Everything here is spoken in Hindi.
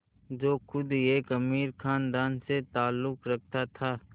जो ख़ुद एक अमीर ख़ानदान से ताल्लुक़ रखता था